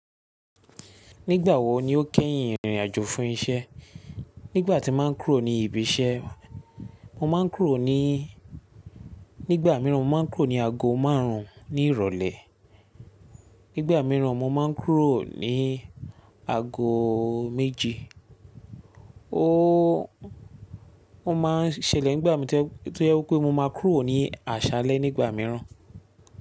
Nígbà wo ni o kẹ́yìn ìrìn àjò fún isẹ́? Nígbà tí ma ń kúrò ní ibi isẹ́, mo ma ń kúrò ní, nígbà mìíràn mo ma ń kúrò ní ago márùn ní ìrọ̀lẹ́, nígbà mìíràn mo ma ń kúrò ní ago méje. O, o maa ń ṣẹlẹ̀ nígbà tó jẹ wí pé mo ma kúrò ní àṣálẹ́ nígbà mìíràn.